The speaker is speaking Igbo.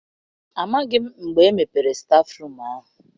Amaghị m mgbe e mepere stafụrum ahụ.